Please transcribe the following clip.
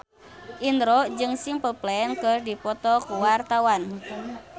Indro jeung Simple Plan keur dipoto ku wartawan